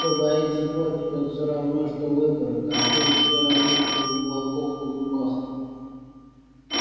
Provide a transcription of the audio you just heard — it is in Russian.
кто боится порки тот все равно что выпорот а ты все равно что у волков на зубах